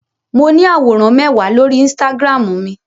Mo ní àwòrán mẹ́wàá lórí Instagram mi.